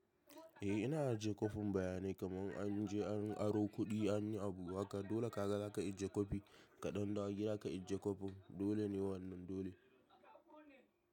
Eh ina ajiye kwafin bayanai kamar an je an aro kuɗi an yi abu haka dole ka ga za ka ajiye kwafi kaɗan ɗawo gida ka ajiye kwafin dole ne wannan dole.